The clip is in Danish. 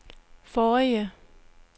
forrige